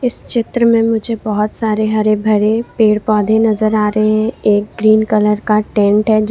इस चित्र में मुझे बहोत सारे हरे भरे पेड़ पौधे नजर आ रहे हैं एक ग्रीन कलर का टेंट है जिस--